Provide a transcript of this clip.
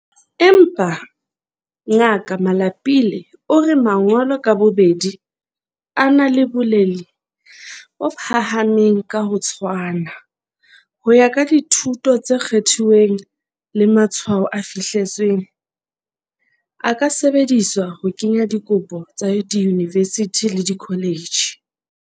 Empa, Ngaka Malapile o re mangolo ka bobedi, a na le boleng bo phahameng ka ho tshwana, ho ya ka dithuto tse kgethuweng le matshwao a fihleletsweng, a ka sebediswa ho kenya dikopo tsa diyunivesithi le dikholetjhi.